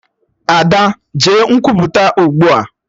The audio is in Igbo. Ada! Jee Nkwupụta ugbua!